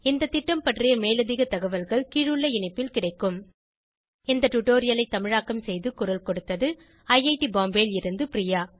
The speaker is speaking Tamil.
இந்த திட்டம் பற்றி மேலதிக தகவல்கள் கீழுள்ள இணைப்பில் கிடைக்கும் இந்த டுடோரியலை தமிழாக்கம் செய்து குரல் கொடுத்தது ஐஐடி பாம்பேவில் இருந்து பிரியா